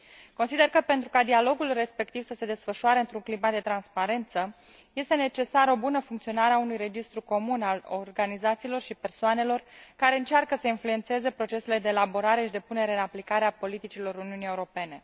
Consider că pentru ca dialogul respectiv să se desfășoare într un climat de transparență este necesară o bună funcționare a unui registru comun al organizațiilor și persoanelor care încearcă să influențeze procesele de elaborare și de punere în aplicare a politicilor Uniunii Europene.